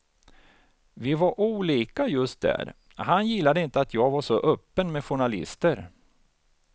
Vi var olika just där, han gillade inte att jag var så öppen med journalister.